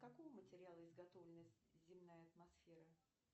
из какого материала изготовлена земная атмосфера